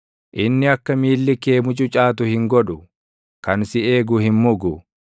Inni akka miilli kee mucucaatu hin godhu; kan si eegu hin mugu;